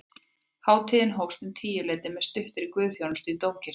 Hátíðin hófst um tíuleytið með stuttri guðsþjónustu í dómkirkjunni